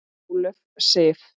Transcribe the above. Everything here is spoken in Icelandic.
Ólöf Sif.